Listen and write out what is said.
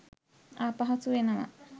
අපහසු වෙනවා.